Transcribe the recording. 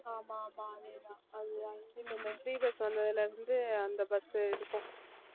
ஆமாம் ஆமாம் அதே தான் அது free bus வந்ததிலிருந்து அந்த bus உ இருக்கும்